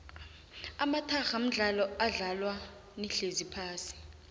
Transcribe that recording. amatarha mdlalo odlalwa nihlezi phasi